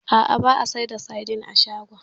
A'a, ba a sayar da saidin a shagon.